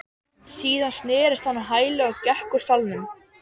Síðan snerist hann á hæli og gekk úr salnum.